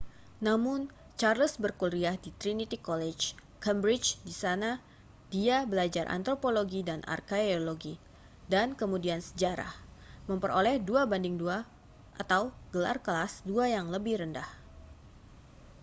namun charles berkuliah di trinity college cambridge di sana dia belajar antropologi dan arkaeologi dan kemudian sejarah memperoleh 2:2 gelar kelas dua yang lebih rendah